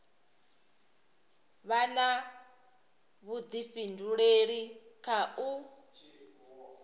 vha na vhuḓifhinduleli kha u